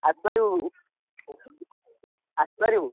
ଆସିପାରିବୁ ଆସିପାରିବୁ।